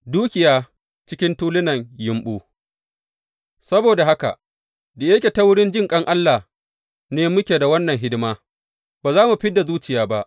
Dukiya cikin tulunan yumɓu Saboda haka, da yake ta wurin jinƙan Allah ne muke da wannan hidima, ba za mu fid da zuciya ba.